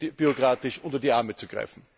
unbürokratisch unter die Arme zu greifen.